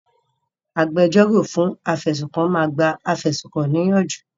Agbẹjọ́rò fún afẹ̀sùnkàn máa gba afẹ̀sùnkàn ní ìyànjú.